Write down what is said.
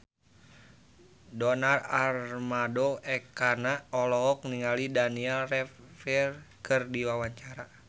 Donar Armando Ekana olohok ningali Daniel Radcliffe keur diwawancara